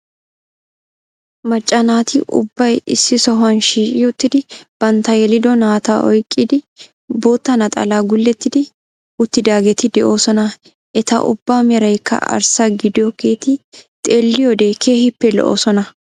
Macca naati ubbay issi sohuwaan shiiqi uttidi bantta yelido naata oyqqidi bootta naxalaa gulettidi uttidaageti de'oosona. eta ubbaa meraykka arssa gidoogeti xelliyoode keehippe lo'oosona.